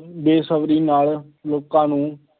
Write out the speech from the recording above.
ਬੇਸਬਰੀ ਨਾਲ ਲੋਕਾਂ ਨੂੰ